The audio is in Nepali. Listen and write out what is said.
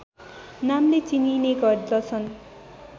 नामले चिनिने गर्दछन्